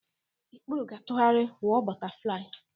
Ikpuru ga-atụgharị wụ ọ bọtaflai.